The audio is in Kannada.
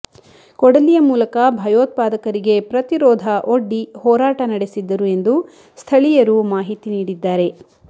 ಕೊಡಲಿಯ ಮೂಲಕ ಭಯೋತ್ಪಾದಕರಿಗೆ ಪ್ರತಿರೋಧ ಒಡ್ಡಿ ಹೋರಾಟ ನಡೆಸಿದ್ದರು ಎಂದು ಸ್ಥಳೀಯರು ಮಾಹಿತಿ ನೀಡಿದ್ದಾರೆ